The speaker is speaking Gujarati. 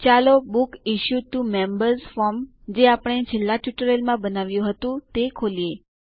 ચાલો books issued to members form જે આપણે છેલ્લા ટ્યુટોરીયલમાં બનાવ્યું હતું તે ખોલીએ